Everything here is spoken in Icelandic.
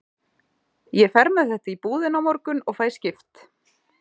Ég fer með þetta í búðina á morgun og fæ skipt.